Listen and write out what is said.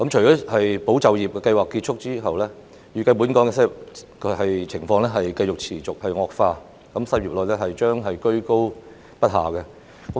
在"保就業"計劃結束後，本港的失業情況預計會持續惡化，失業率將居高不下。